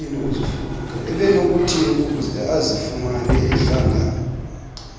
ebenokuthi azifumane ehlangana